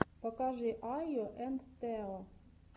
покажи айо энд тео